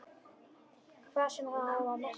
Hvað sem það á að merkja.